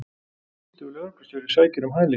Tvítugur lögreglustjóri sækir um hæli